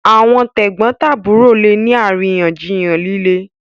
àwọn tegbontaburo lẹ ní àríyànjiyàn lílé.